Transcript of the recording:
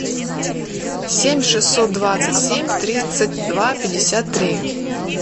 семь шестьсот двадцать семь тридцать два пятьдесят три